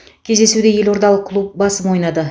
кездесуде елордалық клуб басым ойнады